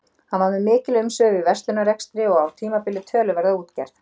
Hann var með mikil umsvif í verslunarrekstri og á tímabili töluverða útgerð.